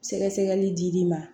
Sɛgɛsɛgɛli dir'i ma